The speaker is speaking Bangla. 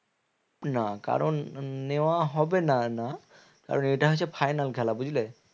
না কারণ নেওয়া হবে না না কারণ এটা হচ্ছে final খেলা বুঝলে?